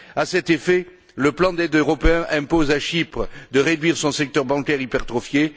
À cet effet, le plan d'aide européen impose à Chypre de réduire son secteur bancaire hypertrophié.